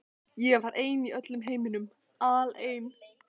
Ég var ein í öllum heiminum, alein.